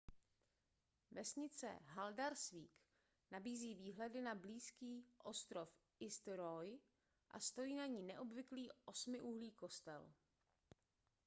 vesnice haldarsvík nabízí výhledy na blízký ostrov eysturoy a stojí na ní neobvyklý osmiúhlý kostel